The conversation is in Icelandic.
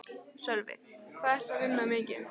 Sölvi: Hvað ertu að vinna mikið?